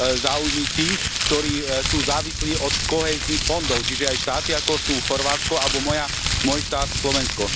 záujmy tých, ktorí sú závislí od kohéznych fondov, čiže aj štáty, ako sú Chorvátsko alebo môj štát Slovensko.